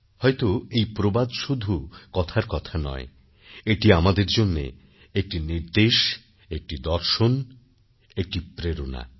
হয়ত এই প্রবাদ শুধু কথার কথা নয় এটি আমাদের জন্য একটি নির্দেশ একটি দর্শন একটি প্রেরণা